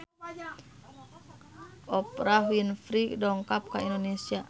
Oprah Winfrey dongkap ka Indonesia